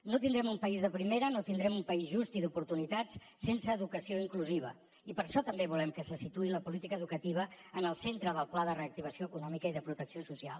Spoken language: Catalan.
no tindrem un país de primera no tindrem un país just i d’oportunitats sense educació inclusiva i per això també volem que se situï la política educativa en el centre del pla de reactivació econòmica i de protecció social